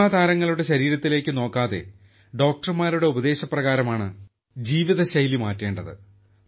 cinema താരങ്ങളുടെ ശരീരത്തിലേക്ക് നോക്കാതെ ഡോക്ടർമാരുടെ ഉപദേശപ്രകാരമാണ് ജീവിതശൈലി മാറ്റേണ്ടത്